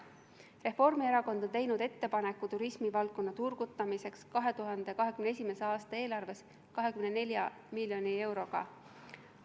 Reformierakond on teinud ettepaneku turgutada turismivaldkonda 2021. aasta eelarves 24 miljoni euroga.